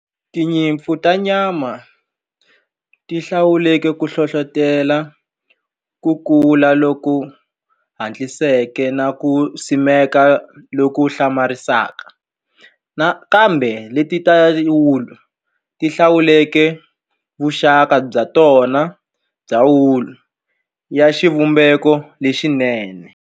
Tinyimpfu ta nyama ti hlawuleke ku hlohlotela ku kula loku hatliseke na ku simeka loku hlamarisaka nakambe leti ta wulu ti hlawuleke vuxaka bya tona bya wulu ya xivumbeko lexinene.